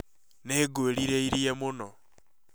Nĩ ngwĩrireĩrie mũno